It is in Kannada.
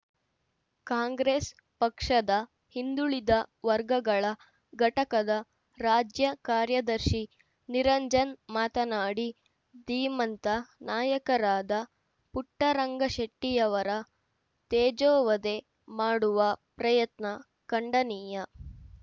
ಕಾಂಗ್ರೆಸ್‌ ಪಕ್ಷದ ಹಿಂದುಳಿದ ವರ್ಗಗಳ ಘಟಕದ ರಾಜ್ಯ ಕಾರ್ಯದರ್ಶಿ ನಿರಂಜನ್‌ ಮಾತನಾಡಿ ಧೀಮಂತ ನಾಯಕರಾದ ಪುಟ್ಟರಂಗಶೆಟ್ಟಿ ಅವರ ತೇಜೋವಧೆ ಮಾಡುವ ಪ್ರಯತ್ನ ಖಂಡನೀಯ